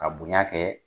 Ka bonya kɛ